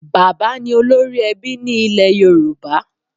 Bàbá ni olórí ẹbí ní ilẹ̀ Yorùbá.